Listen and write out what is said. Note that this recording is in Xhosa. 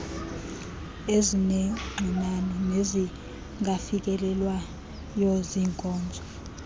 ezinengxinano nezingafikelelwayo zinkozo